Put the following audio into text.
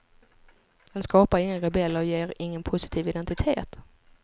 Den skapar inga rebeller, ger ingen positiv identitet.